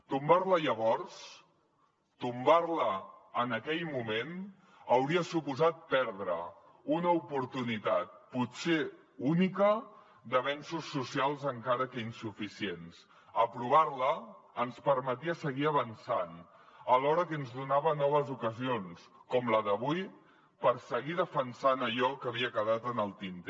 tombar la llavors tombar la en aquell moment hauria suposat perdre una oportunitat potser única d’avenços socials encara que insuficients aprovar la ens permetia seguir avançant alhora que ens donava noves ocasions com la d’avui per seguir defensant allò que havia quedat en el tinter